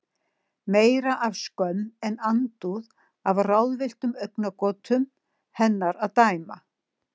Meira af skömm en andúð, af ráðvilltum augnagotum hennar að dæma.